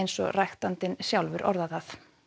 og ræktandinn sjálfur orðaði það